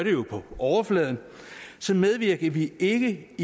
på overfladen så medvirker vi ikke